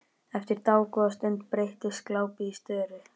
Eftir dágóða stund breytist glápið í störu.